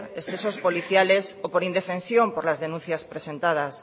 excesos policiales o por indefensión por las denuncias presentadas